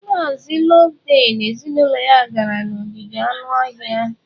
Mazị Loveday na ezinụlọ ya gara n'ogige anụ ọhịa.